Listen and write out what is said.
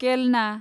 केलना